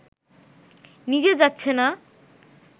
নিজে যাচ্ছেন না